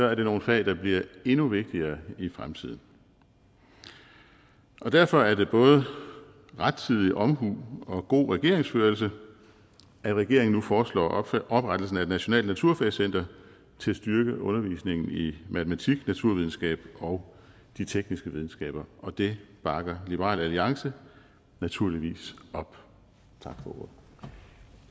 er det nogle fag der bliver endnu vigtigere i fremtiden derfor er det både rettidig omhu og god regeringsførelse at regeringen nu foreslår oprettelse af et nationalt naturfagscenter til at styrke undervisningen i matematik naturvidenskab og de tekniske videnskaber og det bakker liberal alliance naturligvis op